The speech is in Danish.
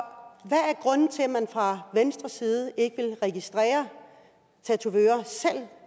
grunden til at man fra venstres side ikke vil registrere tatovører selv